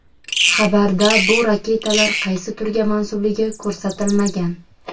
Xabarda bu raketalar qaysi turga mansubligi ko‘rsatilmagan.